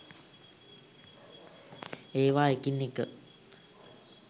ඒවා එකින් එක